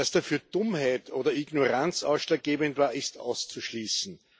Dass dafür Dummheit oder Ignoranz ausschlaggebend war, ist auszuschließen.